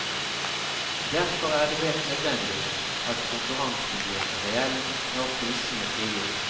Derfor er det helt nødvendig at konkurransen blir reell når prisene frigis.